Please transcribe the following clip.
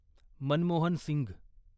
Manmohan Singh